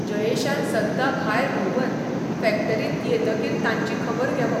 जयेशान सद्दां भायर भोंवन फॅक्टरीत येतकीर तांची खबर घेवप.